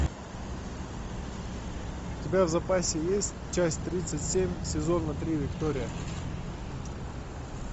у тебя в запасе есть часть тридцать семь сезона три виктория